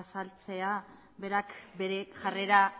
azaltzea berak bere jarrera